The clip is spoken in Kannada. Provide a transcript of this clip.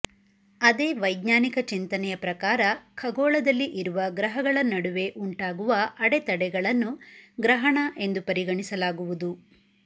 ಅದೇ ವೈಜ್ಞಾನಿಕ ಚಿಂತನೆಯ ಪ್ರಕಾರ ಖಗೋಳದಲ್ಲಿ ಇರುವ ಗ್ರಹಳ ನಡುವೆ ಉಂಟಾಗುವ ಅಡೆತಡೆಗಳನ್ನು ಗ್ರಹಣ ಎಂದು ಪರಿಗಣಿಸಲಾಗುವುದು